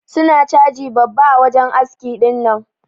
Su na caji babba a wajen aski dinnan.